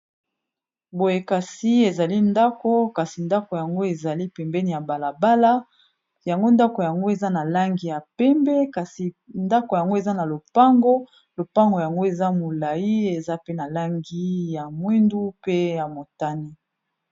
boyekasi ezali ndako kasi ndako yango ezali pembeni ya balabala yango ndako yango eza na langi ya pembe kasi ndako yango eza na lopango lopango yango eza molai eza pe na langi ya mwindu pe ya motani